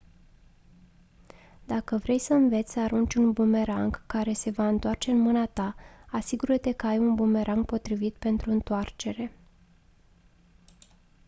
dacă vrei să înveți să arunci un bumerang care se va întoarce în mâna ta asigură-te că ai un bumerang potrivit pentru întoarcere